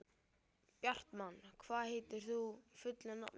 Bjartmann, hvað heitir þú fullu nafni?